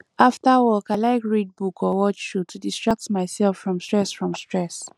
after work i like read book or watch show to distract myself from stress from stress